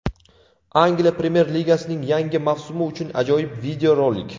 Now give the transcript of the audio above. Angliya Premyer-ligasining yangi mavsumi uchun ajoyib videorolik.